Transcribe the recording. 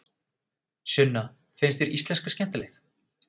Sunna: Finnst þér íslenska skemmtileg?